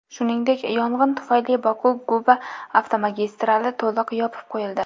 Shuningdek, yong‘in tufayli Boku Guba avtomagistrali to‘liq yopib qo‘yildi.